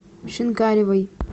шинкаревой